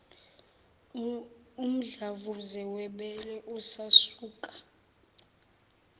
umdlavuza webele usasuka